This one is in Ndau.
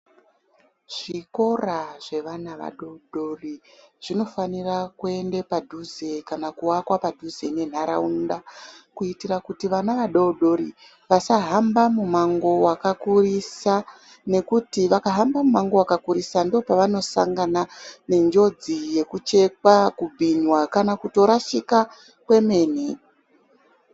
Zvikora zvevana vadoodori zvinofanira kuende padhuze kana kuvakwa padhuze nentaraunda kuitira kuti vana vadoodori vasahamba mumango wakakurisa nekuti vakahamba mumango wakakurisa ndopavanosangana nenjodzi yokuchekwa, kubhinywa kana kutorashika kwemene.